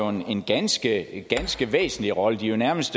en ganske ganske væsentlig rolle det er jo nærmest